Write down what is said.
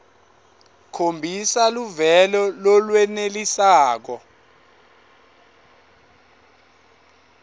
khombisa luvelo lolwenelisako